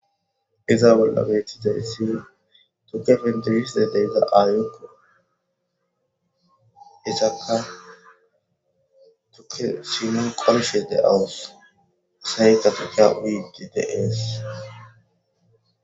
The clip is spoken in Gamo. Iza bolla betizaysi tuke pentisishe diza aayoko izaka tuke sineni qolashe de'awusi , asayka tukiya uyishe de'esi.